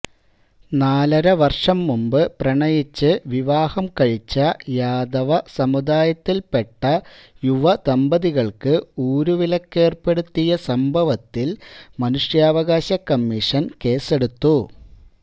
നാലരവർഷം മുമ്പ് പ്രണയിച്ച് വിവാഹം കഴിച്ച യാദവ സമുദായത്തിൽപ്പെട്ട യുവദമ്പതികൾക്ക് ഊരുവിലക്കേർപ്പെടുത്തിയ സംഭവത്തിൽ മനുഷ്യാവകാശ കമ്മീഷൻ കേസെടുത്തു